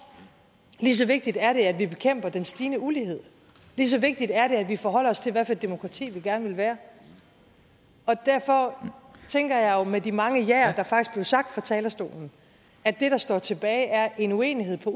lige så vigtigt er det at vi bekæmper den stigende ulighed lige så vigtigt er det at vi forholder os til hvad for et demokrati vi gerne vil være derfor tænker jeg jo med de mange jaer der faktisk blev sagt fra talerstolen at det der står tilbage er en uenighed på